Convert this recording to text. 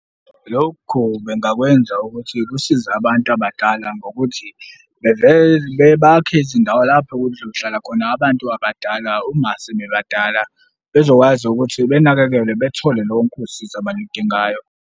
Lokhu bengakwenza ukuthi kusize abantu abadala ngokuthi bakhe izindawo lapho kuzohlala khona abantu abadala uma sebebadala. Bezokwazi ukuthi benakekelwe bethole lonke usizo abaludingayo.